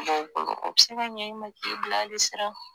B'o bolo o be se ɲɛ e ma ka e bila ali sira